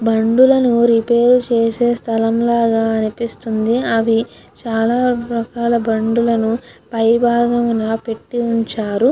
బండులను repair చేసే స్థలం లాగా అనిపిస్తుంది. అవి చాలా రకాల బండులను పైభాగం నా పెట్టి ఉంచారు.